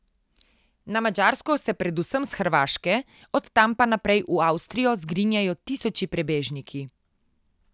Na Madžarsko se predvsem s Hrvaške, od tam pa naprej v Avstrijo zgrinjajo tisoči prebežniki.